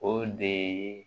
O de ye